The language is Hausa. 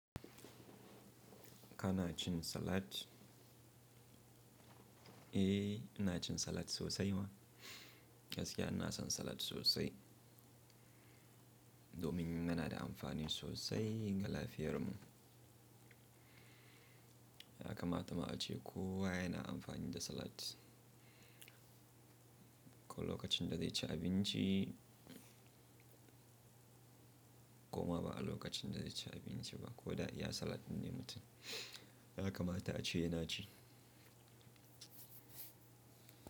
Ka na cin salad? Eh, ina cin salad sosai ma. Gaskiya ina son salad sosai. Domin yana da amfani sosai ga lafiyar mu. Ya kamata ma a ce kuwa yana amfani da salad. Ko lokacin da zai ci abinci ko ma ba a lokacin da zai ci abinci ba, ko da ya salad din ne mutum. Ya kamata a ce yana ci.